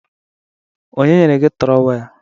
Onye nyere gi trowel?